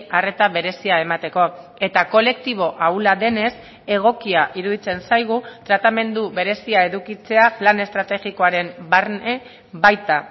arreta berezia emateko eta kolektibo ahula denez egokia iruditzen zaigu tratamendu berezia edukitzea plan estrategikoaren barne baita